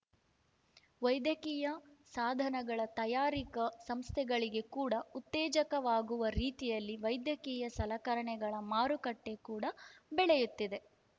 ವೈದ್ಯಕೀಯ ಸಾಧನಗಳ ತಯಾರಿಕ ಸಂಸ್ಥೆಗಳಿಗೆ ಕೂಡ ಉತ್ತೇಜಕವಾಗುವ ರೀತಿಯಲ್ಲಿ ವೈದ್ಯಕೀಯ ಸಲಕರಣೆಗಳ ಮಾರುಕಟ್ಟೆ ಕೂಡ ಬೆಳೆಯುತ್ತಿದೆ